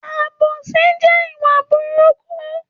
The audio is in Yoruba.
Àbósì jẹ ìwá búrùkú.